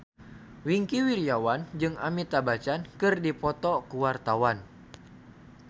Wingky Wiryawan jeung Amitabh Bachchan keur dipoto ku wartawan